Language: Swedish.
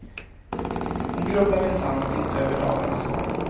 Hon grubblar minsann inte över dagarnas gång.